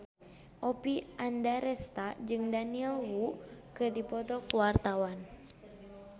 Oppie Andaresta jeung Daniel Wu keur dipoto ku wartawan